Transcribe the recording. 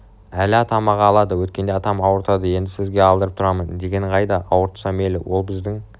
әли атам-ақ алады өткенде атам ауыртады енді сізге алдырып тұрамын дегенің қайда ауыртса мейлі ол біздің